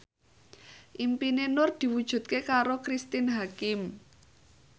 impine Nur diwujudke karo Cristine Hakim